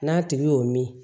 N'a tigi y'o min